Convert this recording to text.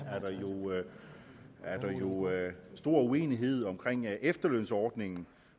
jo er stor uenighed om efterlønsordningen